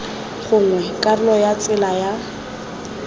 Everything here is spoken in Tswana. gongwe karolo ya tsela ya